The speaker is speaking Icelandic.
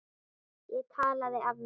Ég talaði af mér.